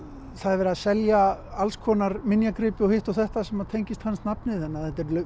það er verið að selja alls konar minjagripi og hitt og þetta sem tengist hans nafni þannig að þetta er